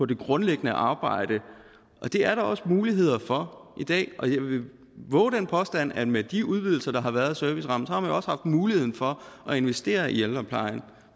det grundlæggende arbejde det er der også muligheder for i dag jeg vil vove den påstand at med de udvidelser der har været af servicerammen har man jo også haft muligheden for at investere i ældreplejen